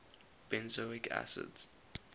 benzoic acids